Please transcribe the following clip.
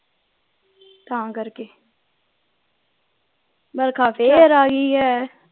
ਤਾਂ ਕਰਕੇ ਫੇਰ ਆਗੀ ਏ